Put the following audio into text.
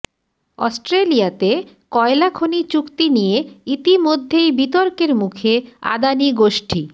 অস্ট্রেলিয়াতে কয়লা খনি চুক্তি নিয়ে ইতিমধ্যেই বিতর্কের মুখে আদানি গোষ্ঠী